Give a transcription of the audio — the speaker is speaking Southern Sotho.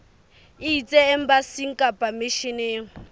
e ise embasing kapa misheneng